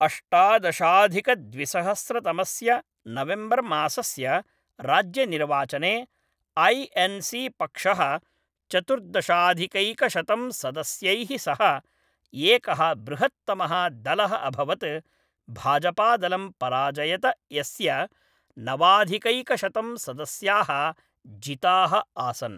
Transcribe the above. अष्टादशाधिकद्विसहस्रतमस्य नवेम्बर्मासस्य राज्यनिर्वाचने, I N C पक्षः चतुर्दशाधिकैकशतं सदस्यैः सह एकः बृहत्तमः दलः अभवत्, भाजपादलं पराजयत यस्य नवाधिकैकशतं सदस्याः जिताः आसन्।